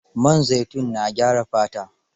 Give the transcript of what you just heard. Man zaitun na gyara fata.